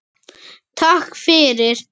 Takk fyrir!